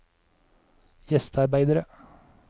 gjestearbeidere